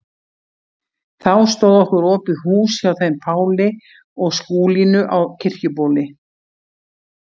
Þá stóð okkur opið hús hjá þeim Páli og Skúlínu á Kirkjubóli.